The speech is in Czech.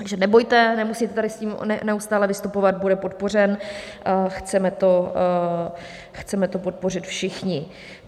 Takže nebojte, nemusíte tady s tím neustále vystupovat, bude podpořen, chceme to podpořit všichni.